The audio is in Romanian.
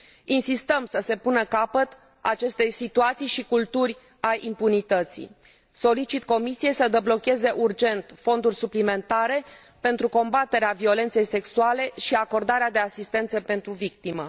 Insistăm să se pună capăt acestei situații și culturi a impunității. Solicit Comisiei să deblocheze urgent fonduri suplimentare pentru combaterea violenței sexuale și acordarea de asistență pentru victime.